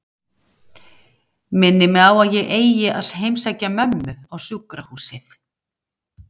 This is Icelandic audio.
Minnir mig á að ég eigi að heimsækja mömmu á sjúkrahúsið.